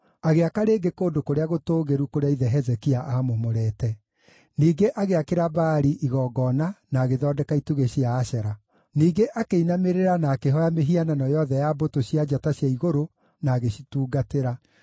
Agĩaka rĩngĩ kũndũ kũrĩa gũtũũgĩru kũrĩa ithe Hezekia aamomorete; ningĩ agĩakĩra Baali igongona na agĩthondeka itugĩ cia Ashera. Ningĩ akĩinamĩrĩra na akĩhooya mĩhianano yothe ya mbũtũ cia njata cia igũrũ na agĩcitungatĩra.